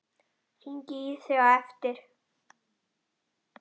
Hringi í þig á eftir.